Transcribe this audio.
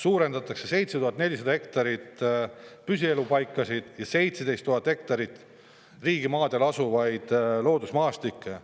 Suurendatakse 7400 hektari võrra püsielupaikade ala ja 17 000 hektari võrra riigimaadel asuvate loodusmaastike ala.